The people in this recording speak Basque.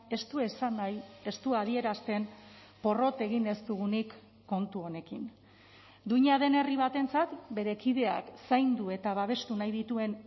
ez du esan nahi ez du adierazten porrot egin ez dugunik kontu honekin duina den herri batentzat bere kideak zaindu eta babestu nahi dituen